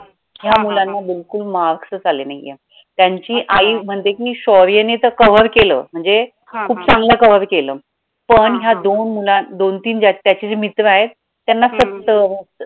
या मुलांना बिलकुल marks चं आले नाहीये त्यांची आई म्हणते की शौर्यने तर cover केलं म्हणजे खूप चांगलं cover केलं पण या दोन मुलां दोन, तीन त्याची जी मित्र आहेत त्यांना सत्तर